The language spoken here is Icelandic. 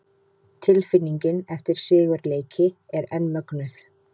Tilfinningin eftir sigurleiki er enn mögnuð!